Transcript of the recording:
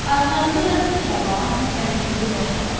Ayaqlarında da diktaban, məhmizli başmaqlar.